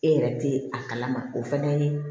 E yɛrɛ tɛ a kalama o fana ye